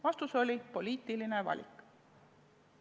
Vastus oli: poliitiline valik!